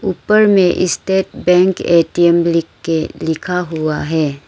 ऊपर में state bank ATM लिख के लिखा हुआ है।